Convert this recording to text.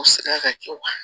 Ka kɛ wa